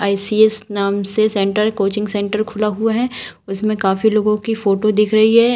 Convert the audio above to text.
ICS नाम से centre coaching centre खुला हुआ है उसमें काफी लोगों की फोटो दिख रही है।